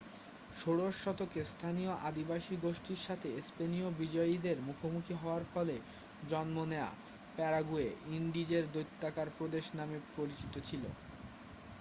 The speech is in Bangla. "ষোড়শ শতকে স্থানীয় আদিবাসী গোষ্ঠীর সাথে স্পেনীয় বিজয়ীদের মুখোমুখি হওয়ার ফলে জন্ম নেওয়া প্যারাগুয়ে "ইন্ডিজের দৈত্যাকার প্রদেশ" নামে পরিচিত ছিল।